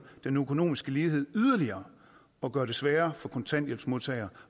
den økonomiske lighed yderligere og gør det sværere for kontanthjælpsmodtagere